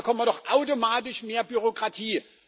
Dann bekommen wir doch automatisch mehr Bürokratie.